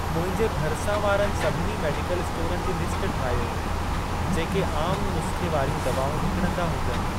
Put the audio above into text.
मुंहिंजे भरिसां वारनि सभिनी मेडिकल स्टोरनि जी लिस्ट ठाहियो, जेके आम नुस्ख़े वारियूं दवाऊं विकिणंदा हुजनि।